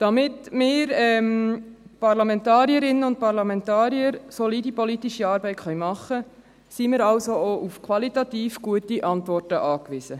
Damit wir Parlamentarierinnen und Parlamentarier solide politische Arbeit machen können, sind wir also auch auf qualitativ gute Antworten angewiesen.